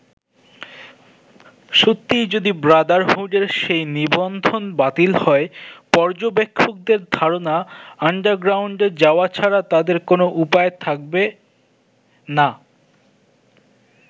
সত্যিই যদি ব্রাদারহুডের সেই নিবন্ধন বাতিল হয়, পর্যবেক্ষকদের ধারনা আন্ডারগ্রাউন্ডে যাওয়া ছাড়া তাদের কোন উপায় থাকবে না।